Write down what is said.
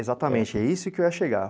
Exatamente, é isso que eu ia chegar.